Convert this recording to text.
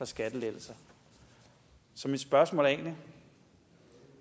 skattelettelser så mit spørgsmål er egentlig